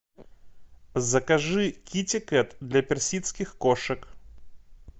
закажи китикет для персидских кошек